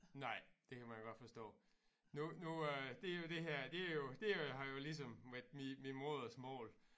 Nej det kan man godt forstå nu nu øh det jo det her det jo det er jo har jo ligesom været mit modersmål